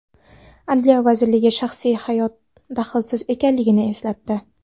Adliya vazirligi shaxsiy hayot daxlsiz ekanligini eslatdi.